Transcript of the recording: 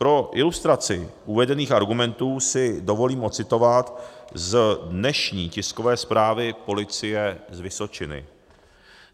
Pro ilustraci uvedených argumentů si dovolím ocitovat z dnešní tiskové zprávy policie z Vysočiny.